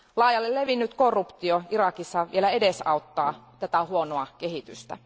Laajalle levinnyt korruptio Irakissa vielä edesauttaa tätä huonoa kehitystä.